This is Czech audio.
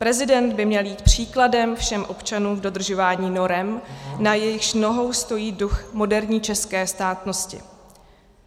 Prezident by měl jít příkladem všem občanům v dodržování norem, na jejichž nohou stojí duch moderní české státnosti.